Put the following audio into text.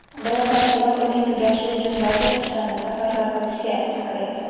Biroq tashkilot uning tugashi uchun barcha kuchlarni safarbar qilishga chaqiryapti.